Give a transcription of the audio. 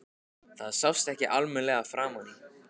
Það sást ekki almennilega framan í